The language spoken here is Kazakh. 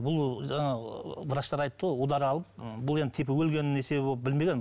бұл жаңағы врачтар айтты ғой удар алып ы бұл енді типа өлгеннің себебі болып білмеген